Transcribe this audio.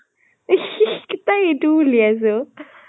তাই ইটোও উলিয়াইছে অ